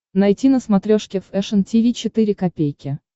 найти на смотрешке фэшн ти ви четыре ка